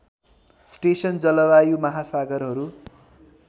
station जलवायु महासागरहरू